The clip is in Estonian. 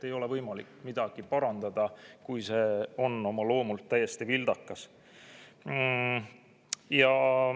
Ei ole võimalik midagi parandada, kui see on oma loomult täiesti vildakas.